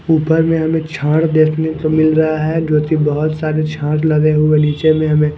ऊपर में हमें झाड़ देखने को मिल रहा है जोकि बहुत सारे झाड़ लगे हुए नीचे में हमें--